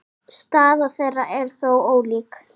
Staða þeirra er þó ólík.